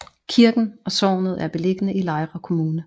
Kirken og sognet er beliggende i Lejre Kommune